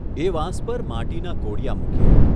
એ વાંસ પર માટીના કોડિયા મૂકીએ.